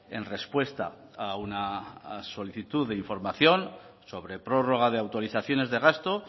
en respuesta a una solicitud de información sobre prórroga de autorizaciones de gasto